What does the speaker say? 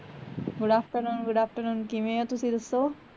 good afternoon good afternoon ਕਿਵੇਂ ਓ ਤੁਸੀਂ ਦਸੋ?